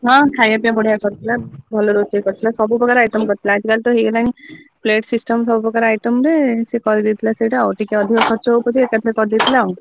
ହଁ ଖାଇଆ ପିଆ ବଢିଆ କରିଥିଲା, ଭଲ ରୋଷେଇ କରିଥିଲା ସବୁ ପ୍ରକାର item କରିଥିଲା, ଆଜି କାଲି ତ ହେଇଗଲାଣି plate system ସବୁ ପ୍ରକାର item ଉ ପଛେ ଏକାଥରକେ କରି ଦେଇଥିଲା ଆଉ।